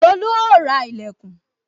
Tolu ó ra ìlẹ̀kùn